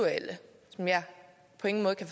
var der